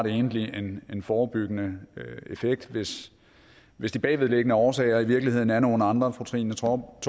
egentlig har en forebyggende effekt hvis de bagvedliggende årsager i virkeligheden er nogle andre fru trine torp